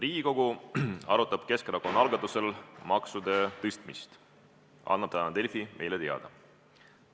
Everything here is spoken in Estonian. "Riigikogu arutab Keskerakonna algatusel maksude tõstmist", annab täna Delfi meile teada.